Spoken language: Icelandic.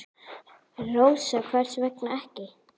Rósa: Hvers vegna ekki?